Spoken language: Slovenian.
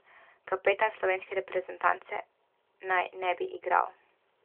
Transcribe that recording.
Kapetan slovenske reprezentance naj ne bi igral.